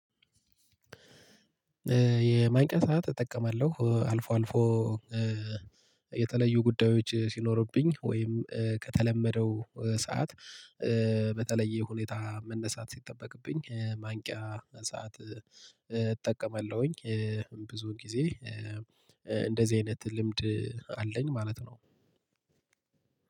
የማንቂያ ሰዓት እጠቀማለሁ አልፎ አልፎ የተለዩ ጉዳዮች ሲኖርብኝ ወይም ከተለመደው ሰዓት በተለየ ሁኔታ መነሳት ሲጠበቅብኝ ማንቂያ ሰዓት እጠቀማለሁኝ። ብዙ ጊዜ እንደዚህ አይነት ልምድ አለኝ ማለት ነው።